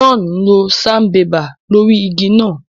John lo Sanbébà lórí ìgi náà